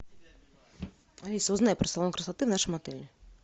алиса узнай про салон красоты в нашем отеле